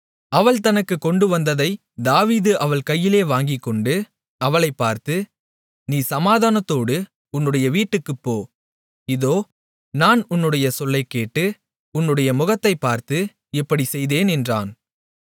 அவள் தனக்குக் கொண்டு வந்ததைத் தாவீது அவள் கையிலே வாங்கிக்கொண்டு அவளைப் பார்த்து நீ சமாதானத்தோடு உன்னுடைய வீட்டுக்குப் போ இதோ நான் உன்னுடைய சொல்லைக்கேட்டு உன்னுடைய முகத்தைப் பார்த்து இப்படிச் செய்தேன் என்றான்